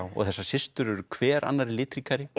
og þessar systur eru hver annarri litríkari